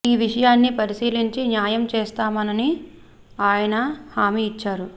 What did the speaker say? ఈ విషయాన్ని పరిశీలించి న్యా యం చేస్తామనని ఆయన హామీ ఇచ్చారు